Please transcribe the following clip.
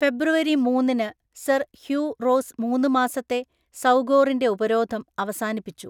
ഫെബ്രുവരി മൂന്നിന് sir Hugh Rose മൂന്ന് മാസത്തെ സൌഗോറിന്‍റെ ഉപരോധം അവസാനിപ്പിച്ചു.